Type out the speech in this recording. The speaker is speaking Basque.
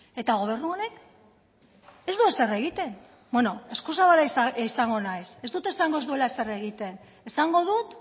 eta gobernu honek ez du ezer egiten bueno eskuzabala izango naiz ez dut esango ez duela ezer egiten esango dut